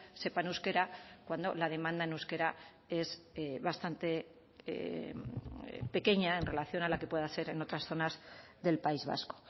sepan euskera cuando la demanda en euskera es bastante pequeña en relación a la que pueda ser en otras zonas del país vasco